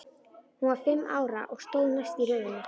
Hún var fimm ára og stóð næst í röðinni.